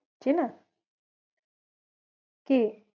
চেনা? কে?